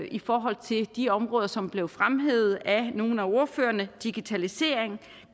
i forhold til de områder som blev fremhævet af nogle af ordførerne digitalisering